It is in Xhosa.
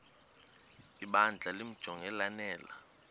ibandla limjonge lanele